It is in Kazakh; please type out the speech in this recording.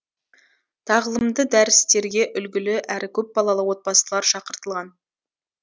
тағылымды дәрістерге үлгілі әрі көпбалалы отбасылар шақыртылған